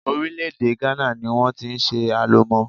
Orílè-èdè Ghana ní wọ́n ti ṣe Alomo.